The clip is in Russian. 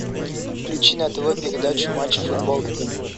включи на тв передачу матч футбол три